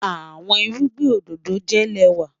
Àwọn ìrùgbìn ọdọdọ jẹ́ lẹ́wà